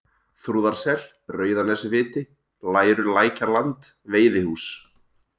Þrúðarsel, Rauðanesviti, Leirulækjarland, Veiðihús